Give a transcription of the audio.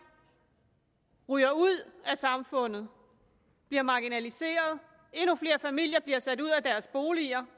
ryger ud af samfundet bliver marginaliseret at endnu flere familier bliver sat ud af deres boliger